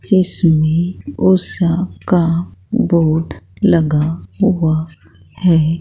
जिसमें उषा का बोर्ड लगा हुआ है।